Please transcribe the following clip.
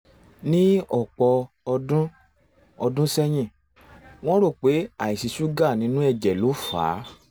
ní ọ̀pọ̀ ọdún ọdún sẹ́yìn wọ́n rò pé àìsí ṣúgà nínú ẹ̀jẹ̀ ló fà á